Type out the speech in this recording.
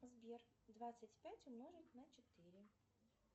сбер двадцать пять умножить на четыре